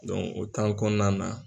o kɔnɔna na